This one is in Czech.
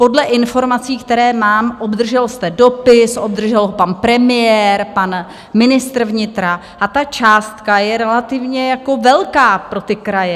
Podle informací, které mám, obdržel jste dopis, obdržel ho pan premiér, pan ministr vnitra, a ta částka je relativně velká pro ty kraje.